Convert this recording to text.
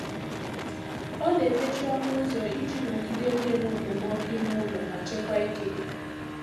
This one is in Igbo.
Ọ na-emechi ọnụ ụzọ iji nọgide na-enwe okpomọkụ ime ụlọ ma chekwaa ike.